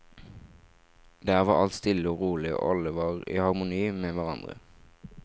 Der var alt stille og rolig, og alle var i harmoni med hverandre.